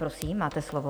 Prosím, máte slovo.